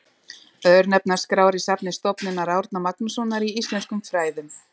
Örnefnaskrár í safni Stofnunar Árna Magnússonar í íslenskum fræðum.